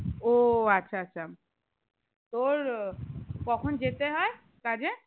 ও আচ্ছা আচ্ছা তোর কখন যেতে হয়ে কাজে?